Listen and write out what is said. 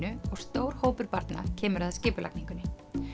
og stór hópur barna kemur að skipulagningunni